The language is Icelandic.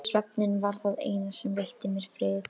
Svefninn var það eina sem veitti mér frið.